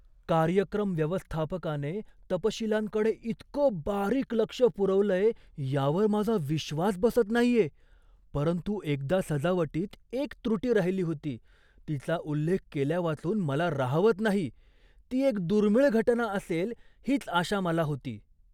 कार्यक्रम व्यवस्थापकाने तपशीलांकडे इतकं बारीक लक्ष पुरवलंय यावर माझा विश्वास बसत नाहीये, परंतु एकदा सजावटीत एक त्रुटी राहिली होती तिचा उल्लेख केल्यावाचून मला राहवत नाही. ती एक दुर्मिळ घटना असेल हीच आशा मला होती .